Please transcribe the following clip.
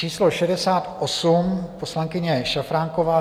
Číslo 68 - poslankyně Šafránková.